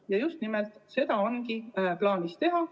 Ja just nimelt seda ongi meil plaanis teha.